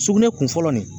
Sugunɛ kun fɔlɔ nin